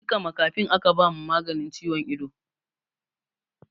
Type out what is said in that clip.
Duka makafin aka ba ma maganin ciwon ido